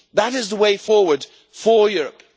is the way forward for Europe.